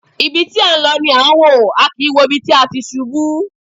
Ibi tí a ń lọ là ń wò, a kì í wo ibi tí a ti ṣubú.